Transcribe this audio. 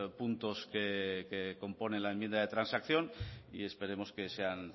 puntos que componen la enmienda de transacción y esperemos que sean